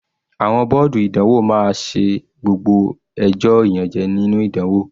Àwọn bọ́ọ̀dù ìdánwò máa ṣe gbogbo ẹjọ́ ìyànjẹ́ nínú ìdánwò.